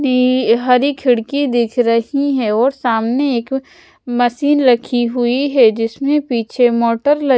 नी हरी खिड़की दिख रही है और सामने एक मशीन रखी हुई है जिसमें पीछे मोटर ल--